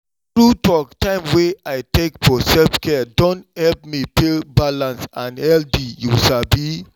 true talk time wey i take for self-care don help me feel dey balanced and healthy you sabi!